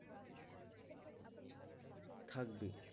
থাকবে